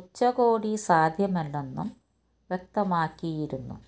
ഉച്ചകോടി സാധ്യമല്ലെന്നും വ്യക്തമാക്കിയിരുന്നു